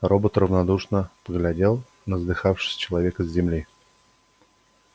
робот равнодушно поглядел на задыхавшегося человека с земли